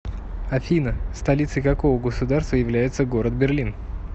афина столицей какого государства является город берлин